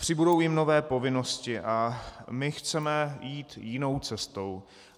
Přibudou jim nové povinnosti, a my chceme jít jinou cestou.